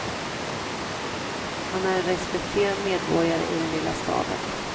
Han är en respekterad medborgare i den lilla staden.